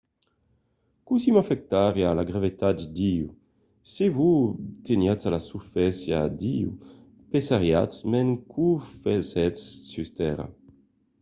cossí m'afectariá la gravetat d'io? se vos teniatz a la susfàcia d'io pesariatz mens qu'o fasètz sus tèrra